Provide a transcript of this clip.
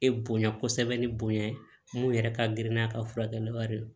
E bonya kosɛbɛ ni bonya ye mun yɛrɛ ka girin n'a ka furakɛliw ye